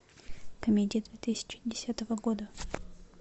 комедия две тысячи десятого года